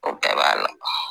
O bɛɛ b'a la